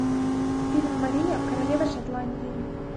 фильм мария королева шотландии